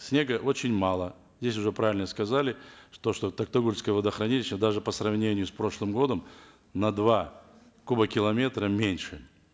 снега очень мало здесь уже правильно сказали то что токтагульское водохранилище даже по сравнению с прошлым годом на два кубокилометра меньше